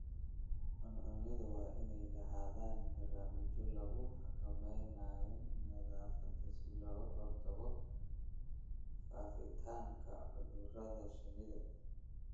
Cuncunyadu waa inay lahaadaan barnaamijyo lagu xakameynayo nadaafadda si looga hortago faafitaanka cudurrada shinnida.